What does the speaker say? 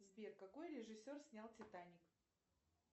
сбер какой режиссер снял титаник